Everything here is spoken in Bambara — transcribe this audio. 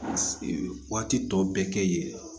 Waati tɔ bɛɛ kɛ yen